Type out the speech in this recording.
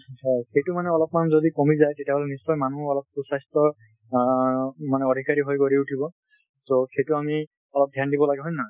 হয়, সেইটো মানে অলপমান যদি কমি যায় তেতিয়া হলে নিশ্চয় মানু্হ অলপ সুবাস্থ্য অ মানে অধিকাৰী হৈ গঢ়ি উঠিব । সেই সেইটো আমি অলপ ধ্যান দিব লাগে, হয় নে নহয়?